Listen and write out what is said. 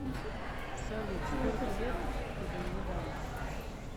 салют сколько лет ты бы мне дала